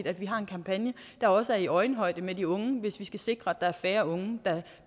at vi har en kampagne der også er i øjenhøjde med de unge hvis vi skal sikre at der er færre unge der